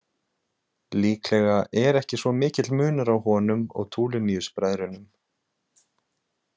Líklega er ekki svo mikill munur á honum og Tuliniusbræðrunum.